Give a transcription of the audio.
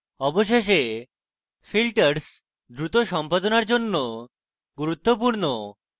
অবশেষে filters দ্রুত সম্পাদনার জন্য গুরুত্বপূর্ণ